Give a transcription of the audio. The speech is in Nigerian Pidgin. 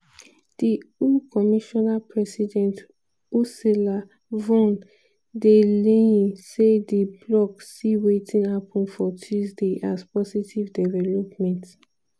di eu commissioner president ursula von der leyen say di bloc see wetin happun for tuesday as "positive development".